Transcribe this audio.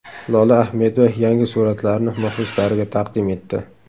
Lola Ahmedova yangi suratlarini muxlislariga taqdim etdi.